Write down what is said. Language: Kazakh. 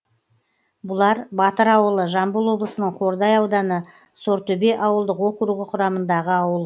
бұлар батыр ауылы жамбыл облысының қордай ауданы сортөбе ауылдық округі құрамындағы ауыл